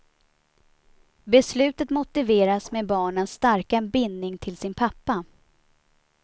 Beslutet motiveras med barnens starka bindning till sin pappa.